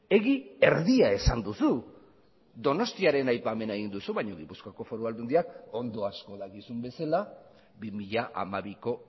egi erdia esan duzu donostiaren aipamena egin duzu baina gipuzkoako foru aldundiak ondo asko dakizun bezala bi mila hamabiko